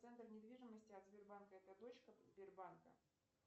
центр недвижимости от сбербанка это дочка сбербанка